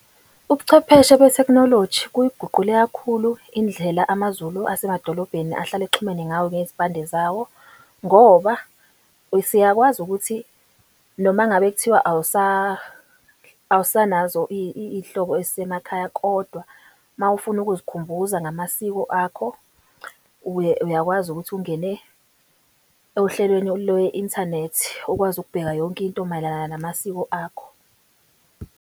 Ubuchwepheshe be-technology kuyiguqule kakhulu indlela amaZulu asemadolobheni ahlale exhumene ngawo ngezimpande zawo, ngoba siyakwazi ukuthi noma ngabe kuthiwa awsanazo iy'hlobo ezisemakhaya kodwa mawufuna ukuzikhumbuza ngamasiko akho, uyakwazi ukuthi ungene ohlelweni ole-inthanethi okwazi ukubheka yonke into mayelana namasiko akho.